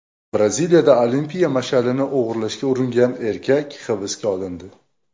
Braziliyada olimpiya mash’alini o‘g‘irlashga uringan erkak hibsga olindi.